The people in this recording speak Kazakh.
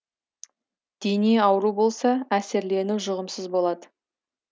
дене ауру болса әсерлену жұғымсыз болады